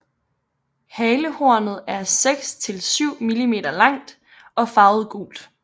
Halehornet er 6 til 7 mm langt og farvet gult